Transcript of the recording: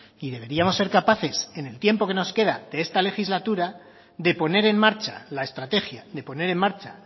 y deberíamos ser capaces en el tiempo que nos queda de esta legislatura de poner en marcha la estrategia de poner en marcha